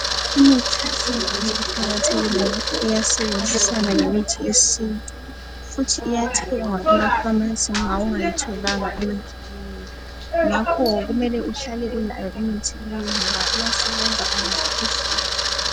Imithi yesilungu iqakathekile kakhulu iyasebenzisana lemithi yesintu futhi iyathengwa ekhemisi nxa ingayithonga imithi leyi, ngakho kumele uhlale ulayo imithi leyi ngaba iyasebenza.